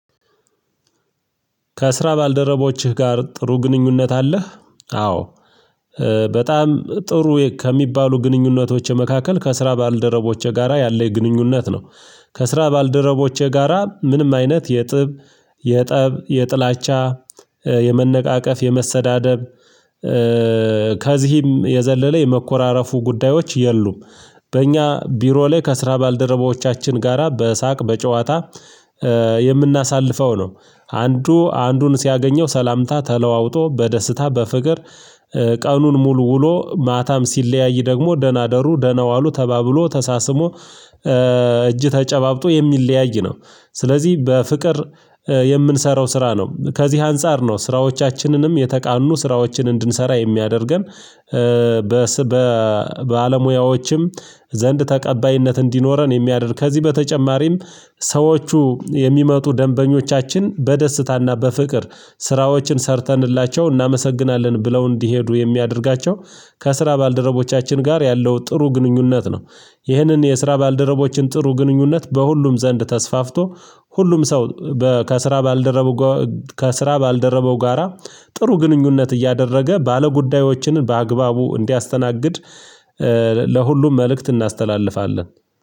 ከስራ ባልደረቦችህ ጋር ጥሩ ግንኙነት አለህ? አዎ በጣም ጥሩ ከሚባሉ ግንኙነቶች መካከል ከስራ ባልደረቦቼ ጋራ ያለኝ ግንኙነት ነው። ከስራ ባልደረቦቼ ጋራ ምንም አይነት የጥብ የጠብ የጥላቻ የመነቃቀፍ የመሰዳደብ ከዚህም የዘለለ የመኮራረፉ ጉዳዮች የሉም። በእኛ ቢሮ ላይ ከስራ ባልደረቦቻችን ጋራ በሳቅ በጨዋታ የምናሳልፈው ነው። አንዱ አንዱን ሲያገኘው ሰላምታ ተለዋውጦ በደስታ በፍቅር ቀኑን ሙሉ ውሎ ማታም ሲለያይ ደግሞ ደህና ደሩ ደህና ዋሉ ተባብሎ ተሳስሞ እጅ ተጨባብጦ የሚለያይ ነው። ስለዚህ በፍቅር የምንሰራው ስራ ነው ከዚህ አንፃር ነው ስራዎቻችንንም የተቃኑ ስራዎችን እንድንሰራ የሚያደርገን። በለሙያዎችም ዘንድ ተቀባይነት እንዲኖረን የሚያደርግ ከዚህ በተጨማሪም ሰዎቹ የሚመጡ ደንበኞቻችን በደስታና በፍቅር ስራዎችን ሰርተንላቸው እናመሰግናለን ብለው እንዲሄዱ የሚያደርጋቸው ከስራ ባልደረቦቻችን ጋር ያለው ጥሩ ግንኙነት ነው። ይህንን የስራ ባልደረቦችን ጥሩ ግንኙነት በሁሉም ዘንድ ተስፋፍቶ ሁሉም ሰው በ ከስራ ባልደረበው ጋራ ጥሩ ግንኙነት እያደረገ ባለጉዳዮችንን በአግባቡ እንዲያስተናግድ ለሁሉም መልእክት እናስተላልፋለን።